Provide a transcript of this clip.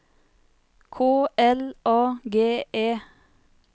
K L A G E